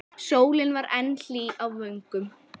Sólin var enn hlý á vöngum.